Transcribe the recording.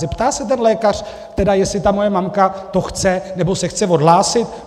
Zeptá se ten lékař tedy, jestli ta moje mamka to chce, nebo se chce odhlásit?